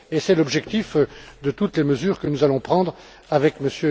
C'est l'objectif de toutes les mesures que nous allons prendre avec M.